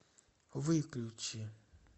выключи